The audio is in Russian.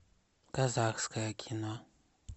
казахское кино